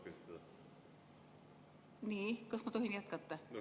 Kas ma tohin jätkata?